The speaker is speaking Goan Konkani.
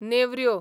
नेवऱ्यो